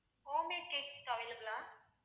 homemade cakes available ah